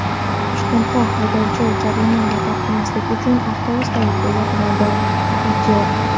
Toshkentda haydovchi jarima to‘lamaslik uchun avtobus tagiga yotib oldi.